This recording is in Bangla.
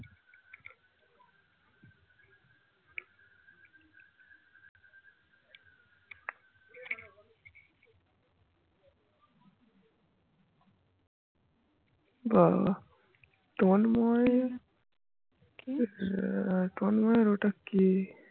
বাবা তন্ময় কি তন্ময় ওটা কে